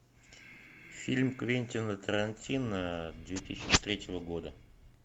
фильм квентина тарантино две тысячи третьего года